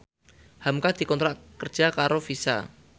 hamka dikontrak kerja karo Visa